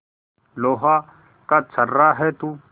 लोहा का छर्रा है तू